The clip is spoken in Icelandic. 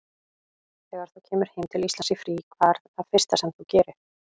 Þegar þú kemur heim til Íslands í frí, hvað er það fyrsta sem þú gerir?